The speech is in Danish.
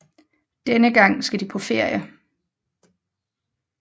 Denne gang skal de på ferie